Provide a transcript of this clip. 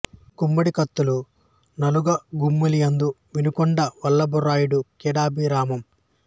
గడిమికత్తుల నా గలుగ గమ్మి యలదు వినుకొండ వల్లభరాయుడు క్రీడాభిరామం